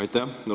Aitäh!